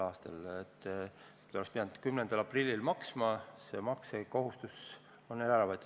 Nad oleks pidanud maksma 10. aprillil, see maksukohustus on neilt ära võetud.